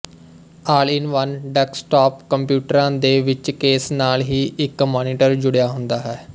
all in one desktop ਕੰਪਿਊਟਰਾਂ ਦੇ ਵਿੱਚ ਕੇਸ ਨਾਲ ਹੀ ਇੱਕ ਮਾਨੀਟਰ ਜੁੜਿਆ ਹੁੰਦਾ ਹੈ